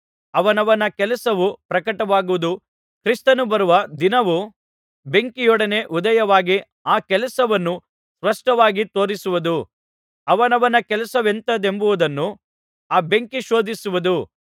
ಅವನವನ ಕೆಲಸವು ಪ್ರಕಟವಾಗುವುದು ಕ್ರಿಸ್ತನು ಬರುವ ದಿನವು ಬೆಂಕಿಯೊಡನೆ ಉದಯವಾಗಿ ಆ ಕೆಲಸವನ್ನು ಸ್ಪಷ್ಟವಾಗಿ ತೋರಿಸುವುದು ಅವನವನ ಕೆಲಸವೆಂಥದೆಂಬುದನ್ನು ಆ ಬೆಂಕಿ ಶೋಧಿಸುವುದು